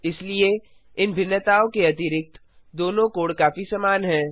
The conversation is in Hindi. इसलिए इन भिन्नताओं के अतिरिक्त दोनों कोड काफी समान हैं